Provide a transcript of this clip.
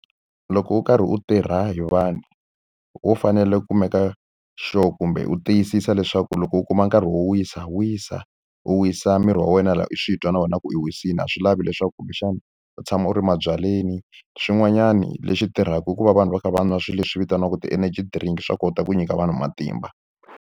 Loko u karhi u tirha hi vanhu, wo fanele ku meka sure kumbe u tiyisisa leswaku loko u kuma nkarhi wo wisa, wisa. U wisisa miri wa wena laha u swi twa na wena ku u wisile. A swi lavi leswaku kumbexana u tshama u ri mabyaleni. Swin'wanyani leswi tirhaka i ku va vanhu va kha va nwa swilo leswi vitaniwaka ti-energy drink, swa kota ku nyika vanhu matimba.